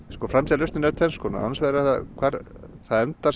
framtíðarlausnin er tvenns konar annars vegar hvar það endar